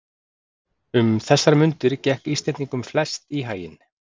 Um þessar mundir gekk Íslendingunum flest í haginn.